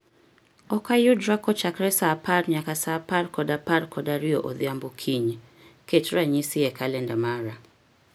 Ok ayudra kochakore saa apar nyaka saa apar kod apar kod ariyo odhiambo kiny, ket ranyisi e kalenda mara